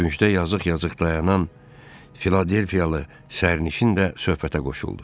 Küncdə yazıq-yazıq dayanan Filadelfiyalı sərnişin də söhbətə qoşuldu.